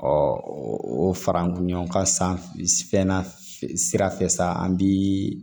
o fara an kun ɲɔn ka san fɛn na sira fɛ sa an bi